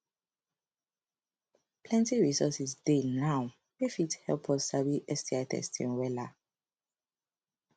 plenty resources dey now wey fit help us sabi sti testing wella